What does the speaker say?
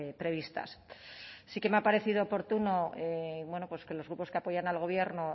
previstas sí que me ha parecido oportuno bueno pues que los grupos que apoyan al gobierno